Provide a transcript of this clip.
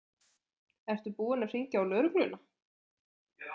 Ertu búin að hringja á lögregluna?